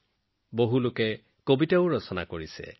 বহুতে নতুন নতুন কবিতাও লিখিছে